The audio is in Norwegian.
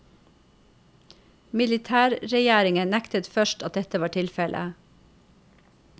Militærregjeringen nektet først at dette var tilfelle.